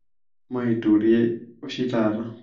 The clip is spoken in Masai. maituree oshi taata